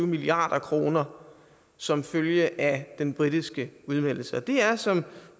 milliard kroner som følge af den britiske udmeldelse det er som